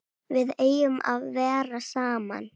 Við eigum að vera saman.